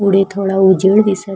पुढे थोडा उजेड दिसत--